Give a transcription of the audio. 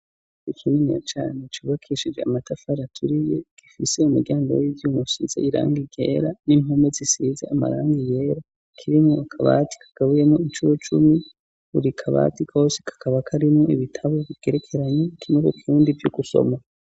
Kininiya cane cubakishije amatafari aturiye gifise umuryango w'ivyuma usize irangi ryera n'impome zisize amarangi yera kirimo akabati kagabuyemo inshuro cumi buri kabati kosi kakaba karimo ibitabo bikerekeranye kiri mukirundi vyo gusoma.